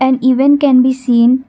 an event can be seen.